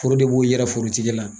Foro de b'o yira foroti la.